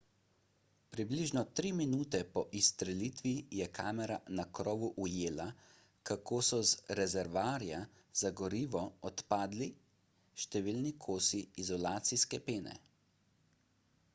približno tri minute po izstrelitvi je kamera na krovu ujela kako so z rezervoarja za gorivo odpadali številni kosi izolacijske pene